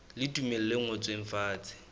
le tumello e ngotsweng fatshe